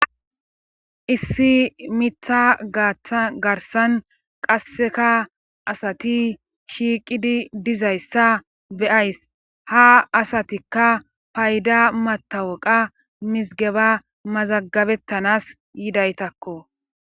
issi mitha atagarsan qasseka asati shiiqidi dizayssa beyays ha asatikka payda matawaqa mizgeba mazagabettanas yidaytakko